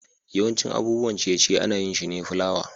yawancin abubuwan ciye-ciye ana yin shi ne fulawa.